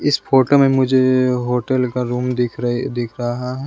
इस फोटो में मुझे ए होटल का रूम दिख रही दिख रहा है।